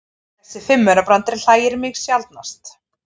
Þessi fimmaurabrandari hlægir mig sjaldnast.